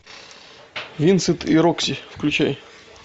винсент и рокси включай